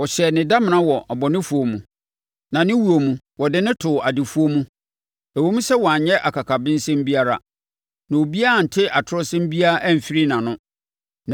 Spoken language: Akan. Wɔyɛɛ ne damena wɔ abɔnefoɔ mu, na ne wuo mu, wɔde no too adefoɔ mu ɛwom sɛ wanyɛ akakabensɛm biara, na obiara ante atorɔsɛm biara amfiri nʼano.